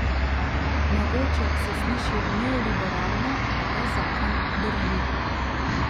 Mogoče se sliši neoliberalno, a ta zakon drži.